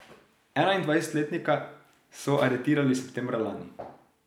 Enaindvajsetletnika so aretirali septembra lani.